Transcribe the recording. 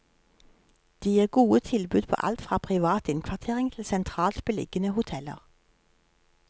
De gir gode tilbud på alt fra privat innkvartering til sentralt beliggende hoteller.